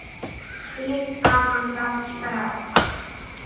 Þar flutti Dóra smá tölu.